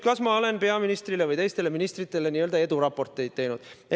Kas ma olen peaministrile või teistele ministritele n-ö eduraporteid teinud?